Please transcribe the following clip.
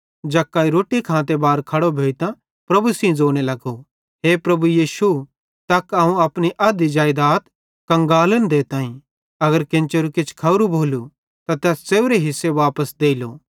जक्कई रोट्टी खांते बारे खड़ो भोइतां प्रभु सेइं ज़ोने लगो हे प्रभु यीशु तक अवं अपनी अध्धी जेइदात कंगालन देताईं अगर केन्चेरू किछ खोरू भोलू त तैस च़ेव्रे हिस्से वापस देइलो